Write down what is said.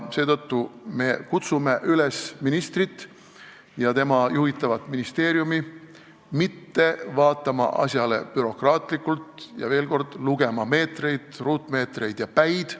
Seetõttu me kutsume üles ministrit ja tema juhitavat ministeeriumi mitte vaatama asjale bürokraatlikult ega lugema meetreid, ruutmeetreid ja päid.